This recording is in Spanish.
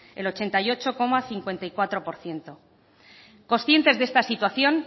el ochenta y ocho coma cincuenta y cuatro por ciento conscientes de esta situación